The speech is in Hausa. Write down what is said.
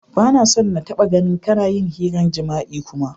Ba na so n'taba gan kana yin hiran jima'i kuma!